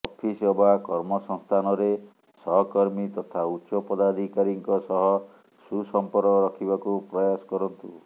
office ଅବା କର୍ମସଂସ୍ଥାନରେ ସହକର୍ମୀ ତଥା ଉଚ୍ଚପଦାଧିକାରୀଙ୍କ ସହ ସୁସଂପର୍କ ରଖିବାକୁ ପ୍ରୟାସ କରନ୍ତୁ